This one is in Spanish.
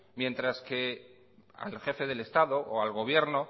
mientras que al jefe del estado o al gobierno